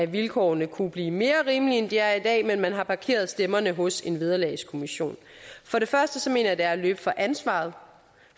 vilkårene kunne blive mere rimelige end de er i dag men man har parkeret stemmerne hos en vederlagskommission for det første mener jeg det er at løbe fra ansvaret